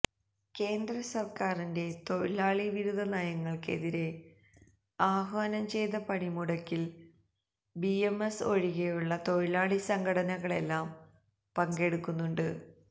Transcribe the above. കേന്ദ്ര സര്ക്കാരിന്റെ തൊഴിലാളി വിരുദ്ധ നയങ്ങള്ക്കെതിരെ ആഹ്വാനം ചെയ്ത പണിമുടക്കില് ബിഎംഎസ് ഒഴികെയുള്ള തൊഴിലാളി സംഘടനകളെല്ലാം പങ്കെടുക്കുന്നുണ്ട്